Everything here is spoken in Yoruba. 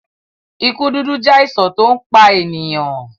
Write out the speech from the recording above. ikú dúdú jẹ àìsàn to npá ènìyàn.